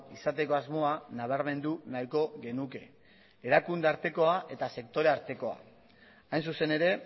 izateko asmoa nabarmendu nahiko genuke erakunde artekoa eta sektore artekoa hain zuzen ere